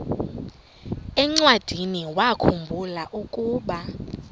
encwadiniwakhu mbula ukuba